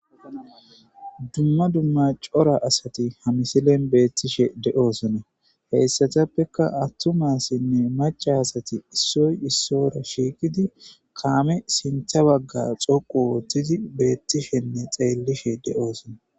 Dumma dumma cora asati hamisilen beettishe de'oosona heyssatappeka attumasinne maca asati issoy issora shiiqidi kaame sintha bagga xoqu woottidi beettishenne xeellishe de'oosona.